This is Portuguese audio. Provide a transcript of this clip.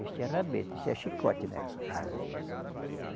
Este é rabeta, este é chicote, né? Rai